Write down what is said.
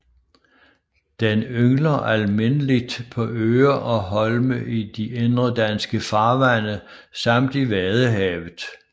Den yngler almindeligt på øer og holme i de indre danske farvande samt i Vadehavet